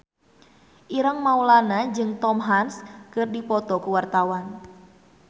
Ireng Maulana jeung Tom Hanks keur dipoto ku wartawan